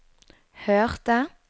hørte